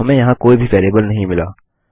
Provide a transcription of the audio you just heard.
हमें यहाँ कोई भी वेरिएबल नहीं मिला